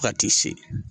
Fo ka t'i se